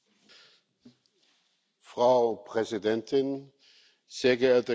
Frau Präsidentin, sehr geehrte Kolleginnen und Kollegen!